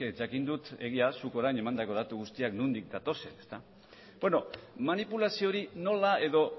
jakin dut egia da zuk orain emandako datu guztiak nondik datozen beno manipulazio hori nola edo